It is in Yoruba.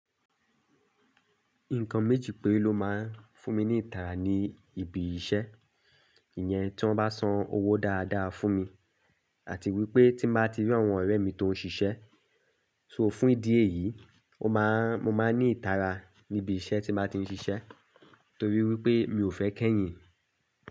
Nǹkan méjì pẹ́ ló máa ń fún mi ní ìtara ní ibi iṣẹ́. Ìyẹn tí wọ́n bá san owó dáadáa fún mi àti wípé tí mo bá ti rí àwọn ọ̀rẹ́ mi tó ń ṣiṣẹ́. So fún ìdí èyí, ó máa ń, mo máa ní ìtara ní ibi iṣẹ́ tí mo bá ti ń ṣiṣẹ́ torí wípé mi ò fẹ́ kẹ́yìn.